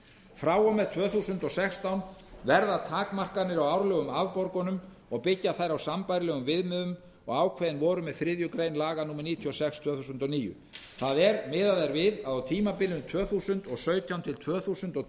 frá og með tvö þúsund og sextán verða takmarkanir á árlegum afborgunum og byggja þær á sambærilegum viðmiðunum og ákveðin voru með þriðju grein laga númer níutíu og sex tvö þúsund og níu það er miðað er við að á tímabilinu tvö þúsund og sautján til tvö þúsund